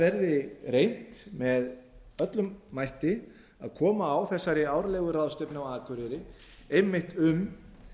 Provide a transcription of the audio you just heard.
verði reynt með öllum mætti að koma á þessari árlegu ráðstefnu á akureyri einmitt um